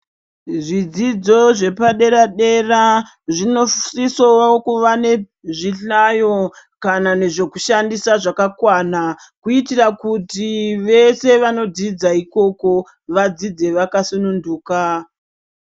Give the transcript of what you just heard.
Zvidzidzo zvepa dera dera zvinosise kuva ne zvihlayo kana nezveku shandisa zvaka kwana kuitira kuti vese vano dzidza ikoko vadzidze vaka sununduka.